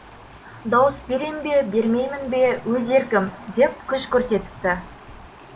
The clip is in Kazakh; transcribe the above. дауыс берем бе бермеймін бе өз еркім деп күш көрсетіпті